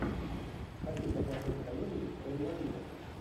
хочу посмотреть комедию про инвалидов